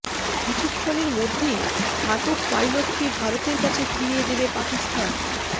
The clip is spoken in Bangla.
কিছুক্ষণের মধ্যেই আটক পাইলটকে ভারতের কাছে ফিরিয়ে দেবে পাকিস্তান